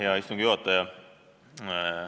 Hea istungi juhataja!